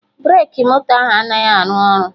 Breki moto ahụ anaghị arụ ọrụ